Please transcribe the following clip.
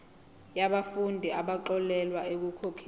yabafundi abaxolelwa ekukhokheni